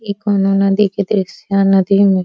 ई कौनो नदी के दृश्य ह। नदी में --